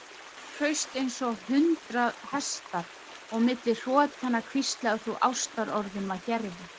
Þú hraust eins og hundrað hestar og milli hrotanna hvíslaðir þú ástarorðum að Gerði.